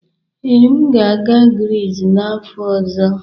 Ee, m ga-aga Grizz n'afọ ọzọ.